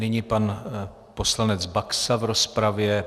Nyní pan poslanec Baxa v rozpravě.